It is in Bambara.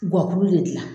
Gɔburu de gilan